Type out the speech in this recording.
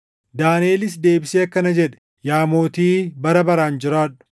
Daaniʼelis deebisee akkana jedhe; “Yaa mootii bara baraan jiraadhu!